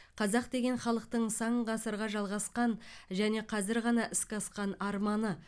қазақ деген халықтың сан ғасырға жалғасқан және қазір ғана іске асқан арманы